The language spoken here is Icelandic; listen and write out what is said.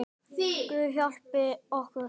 Guð hjálpi okkur, bað hann.